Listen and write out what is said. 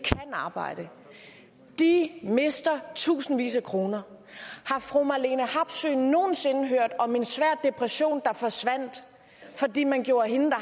arbejde de mister tusindvis af kroner har fru marlene harpsøe nogen sinde hørt om en svær depression der forsvandt fordi man gjorde hende der